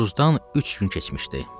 Novruzdan üç gün keçmişdi.